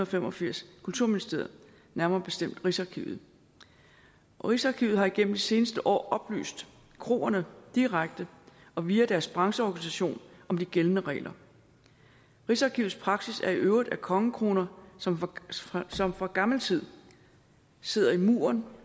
fem og firs kulturministeriet nærmere bestemt rigsarkivet rigsarkivet har igennem de seneste år oplyst kroerne direkte og via deres brancheorganisation om de gældende regler rigsarkivets praksis er i øvrigt at kongekroner som fra som fra gammel tid sidder i murværk